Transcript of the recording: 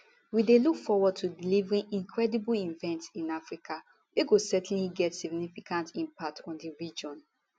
we dey look forward to delivering incredible event [in africa] wey go certainly get significant impact on di region